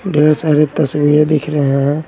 ढेर सारे तस्वीरें दिख रहे हैं।